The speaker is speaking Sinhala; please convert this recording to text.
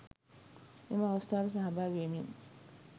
එම අවස්ථාවට සහභාගි වෙමින්